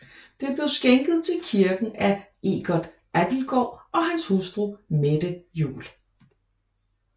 Det blev skænket til kirken af Eggert Abildgaard og hans hustru Mette Juel